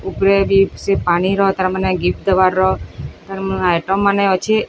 ଉପରେ ବି ସେ ପାଣିର ତାର ମାନେ ଗିପ୍ ତବାର ତାର ମ ଆଏଟମ୍ ମାନେ ଅଛେ।